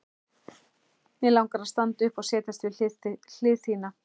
Mig langar að standa upp og setjast við hlið þína.